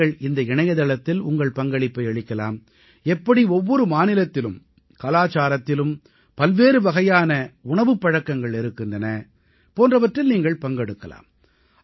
நீங்கள் இந்த இணையதளத்தில் உங்கள் பங்களிப்பை அளிக்கலாம் எப்படி ஒவ்வொரு மாநிலத்திலும் கலாச்சாரத்திலும் பல்வேறு வகையான உணவுப் பழக்கங்கள் இருக்கின்றன போன்றவற்றில் நீங்கள் பங்கெடுக்கலாம்